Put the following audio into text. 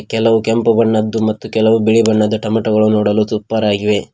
ಕೆಲವು ಕೆಂಪು ಬಣ್ಣದ್ದು ಮತ್ತು ಕೆಲವು ಬಿಳಿ ಬಣ್ಣದ್ದು ಟಮೋಟ ನೋಡಲು ಸೂಪರ್ ಆಗಿ.